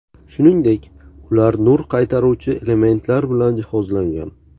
Shuningdek, ular nur qaytaruvchi elementlar bilan jihozlangan.